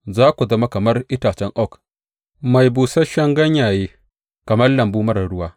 Za ku zama kamar itacen oak mai busasshen ganyaye, kamar lambu marar ruwa.